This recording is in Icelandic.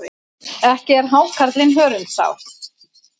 Ekki er hákarlinn hörundsár.